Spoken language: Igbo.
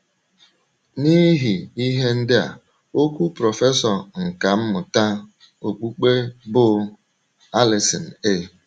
N’ihi ihe ndị a, okwu prọfesọ nkà mmụta okpukpe bụ́ Allison A.